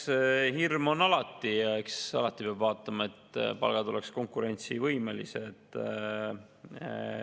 Eks hirm on alati ja eks alati peab vaatama, et palgad oleksid konkurentsivõimelised.